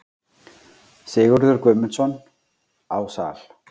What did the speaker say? Sigurður Guðmundsson: Á Sal.